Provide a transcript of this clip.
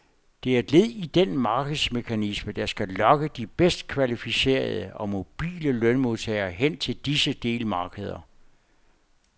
Det er et led i den markedsmekanisme, der skal lokke de bedst kvalificerede og mobile lønmodtagere hen til disse delmarkeder.